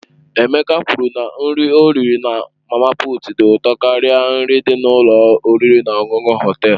Emeka kwuru na nri ọ riri na mama puut dị ụtọ karịa nri dị n'ụlọ oriri na ọṅụṅụ Họtelu.